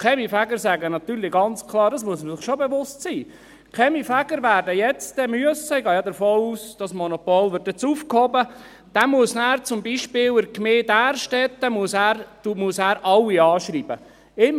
Die Kaminfeger sagen ganz klar – dessen muss man sich bewusst sein –, dass ein Kaminfeger– ich gehe davon aus, dass das Monopol nun aufgehoben wird – dann zum Beispiel in der Gemeinde Därstetten alle anschreiben muss.